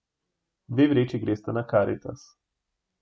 Dve vreči gresta na Karitas.